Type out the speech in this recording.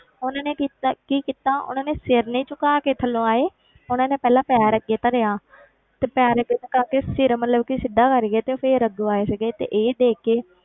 ਉਹਨਾਂ ਨੇ ਕੀਤਾ ਕੀ ਕੀਤਾ ਉਹਨਾਂ ਨੇ ਸਿਰ ਨਹੀਂ ਝੁਕਾ ਕੇ ਥੱਲੋਂ ਆਏ ਉਹਨਾਂ ਨੇ ਪਹਿਲਾਂ ਪੈਰ ਅੱਗੇ ਧਰਿਆ ਤੇ ਪੈਰ ਅੱਗੇ ਟਿਕਾ ਕੇ ਸਿਰ ਮਤਲਬ ਕਿ ਸਿੱਧਾ ਕਰਕੇ ਤੇ ਫਿਰ ਅੱਗੋਂ ਆਏ ਸੀਗੇ ਤੇ ਇਹ ਦੇਖ ਕੇ,